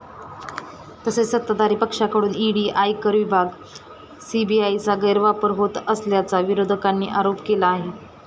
तसेच सत्ताधारी पक्षाकडून ईडी, आयकर विभाग, सीबीआयचा गैरवापर होत असल्याचा विरोधकांनी आरोप केला आहे.